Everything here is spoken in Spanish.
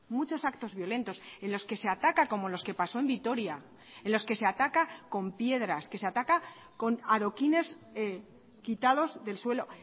muchos actos violentos en los que se ataca como los que pasó en vitoria en los que se ataca con piedras que se ataca con adoquines quitados del suelo